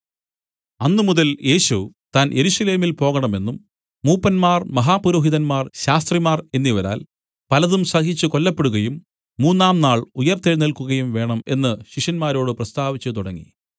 അന്നുമുതൽ യേശു താൻ യെരൂശലേമിൽ പോകണമെന്നും മൂപ്പന്മാർ മഹാപുരോഹിതന്മാർ ശാസ്ത്രിമാർ എന്നിവരാൽ പലതും സഹിച്ചു കൊല്ലപ്പെടുകയും മൂന്നാം നാൾ ഉയിർത്തെഴുന്നേൽക്കുകയും വേണം എന്നു ശിഷ്യന്മാരോട് പ്രസ്താവിച്ചു തുടങ്ങി